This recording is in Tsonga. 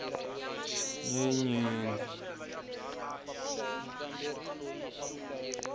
nyenyeni